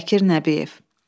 Bəkir Nəbiyev.